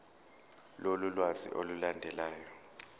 lolu lwazi olulandelayo